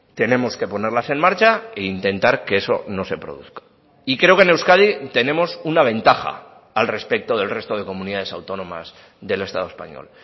tenemos que ponerlas en marcha e intentar que eso no se produzca y creo que en euskadi tenemos una ventaja al respecto del resto de comunidades autónomas del estado español